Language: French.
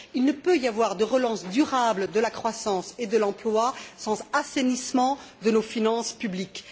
Il ne peut y avoir de relance durable de la croissance et de l'emploi sans assainissement de nos finances publiques.